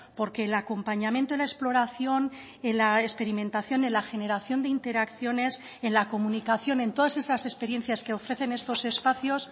porque el acompañamiento en la exploración en la experimentación en la generación de interacciones en la comunicación en todas esas experiencias que ofrecen estos espacios